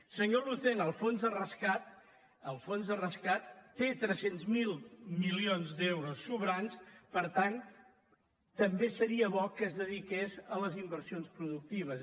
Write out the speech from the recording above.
senyor lucena el fons de rescat té tres cents miler milions d’euros sobrants per tant també seria bo que es dediqués a les inversions productives